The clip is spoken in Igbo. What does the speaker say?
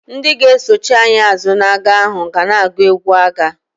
Ndị ga-esochi anyị azụ n'agha ahụ ga na-agụ egwu agha.